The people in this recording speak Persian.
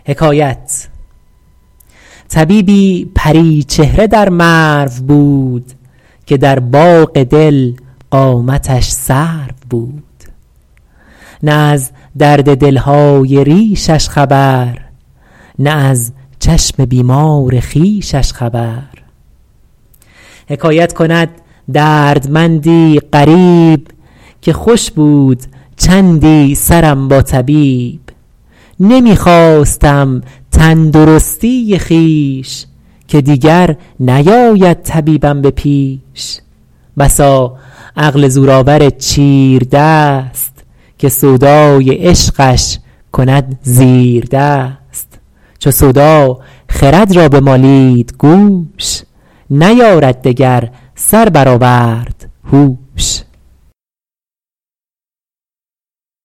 طبیبی پری چهره در مرو بود که در باغ دل قامتش سرو بود نه از درد دل های ریشش خبر نه از چشم بیمار خویشش خبر حکایت کند دردمندی غریب که خوش بود چندی سرم با طبیب نمی خواستم تندرستی خویش که دیگر نیاید طبیبم به پیش بسا عقل زورآور چیردست که سودای عشقش کند زیردست چو سودا خرد را بمالید گوش نیارد دگر سر برآورد هوش